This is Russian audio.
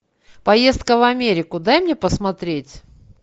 поездка в америку дай мне посмотреть